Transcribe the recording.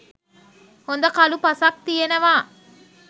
හොඳ කළු පසක් තියෙනවා.